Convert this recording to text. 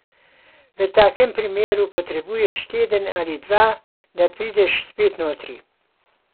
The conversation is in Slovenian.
V takem primeru potrebuješ teden ali dva, da prideš spet notri.